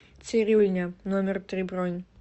цирюльня номер три бронь